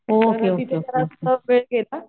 okay okay okay okay